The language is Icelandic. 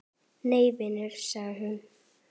Nei vinan, segir hún.